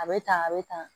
A bɛ tan a bɛ tan